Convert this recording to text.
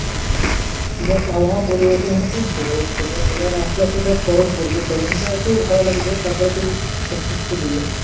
দেখ আবহাওয়া পরিবর্তন এবার আস্তে আস্তে দেখ গরম পড়বে গরমটা একটু ভালো লাগবে তারপর একটু দিবে।